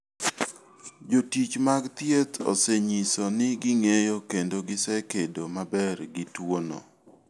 Jotich mag thieth osenyiso ni ging'eyo kendo gisekedo maber gi tuwono.